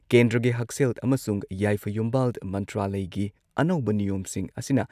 ꯀꯦꯟꯗ꯭ꯔꯒꯤ ꯍꯛꯁꯦꯜ ꯑꯃꯁꯨꯡ ꯌꯥꯏꯐ ꯌꯨꯝꯕꯥꯜ ꯃꯟꯇ꯭ꯔꯥꯂꯢꯒꯤ ꯑꯅꯧꯕ ꯅꯤꯌꯣꯝꯁꯤꯡ ꯑꯁꯤꯅ